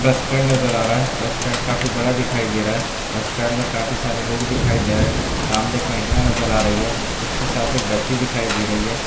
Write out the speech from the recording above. बस स्टैंड नज़र आ रहा है बस स्टैंड काफी बड़ा दिखाई दे रहा हैं बस स्टैंड में काफी सारे लोग दिखाई दे रहे हैं सामने एक महिला नज़र आ रही है उसके साथ एक बच्ची दिखाई दे रही है।